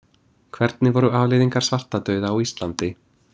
Hvernig voru afleiðingar svartadauða á Íslandi?